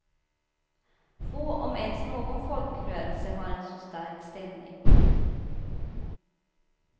Få om ens någon folkrörelse har en så stark ställning.